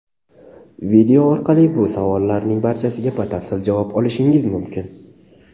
Video orqali bu savollarning barchasiga batafsil javob olishingiz mumkin.